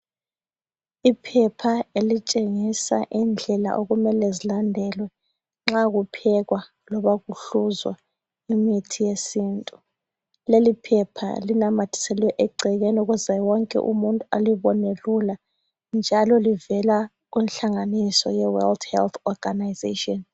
Iphepha elitshengisa indlela okumele zilandelwe nxa kuphekwa loba kuhluzwa imithi yesintu. leliphepha linamathiselwe egcekeni ukuze wonke umuntu elibona lula ,njalo livela kunhlanganiso ye world health organization.